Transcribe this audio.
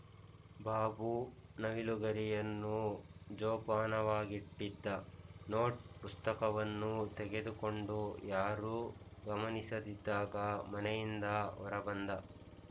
ಬಾಬು ನವಿಲುಗರಿಯನ್ನು ಜೋಪಾನವಾಗಿಟ್ಟಿದ್ದ ನೋಟ್ ಪುಸ್ತಕವನ್ನು ತೆಗೆದುಕೊಂಡು ಯಾರೂ ಗಮನಿಸದಿದ್ದಾಗ ಮನೆಯಿಂದ ಹೊರ ಬಂದ